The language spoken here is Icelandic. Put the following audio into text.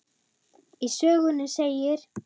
Í sögunni segir: